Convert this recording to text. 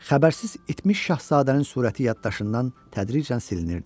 Xəbərsiz itmiş şahzadənin surəti yaddaşından tədricən silinirdi.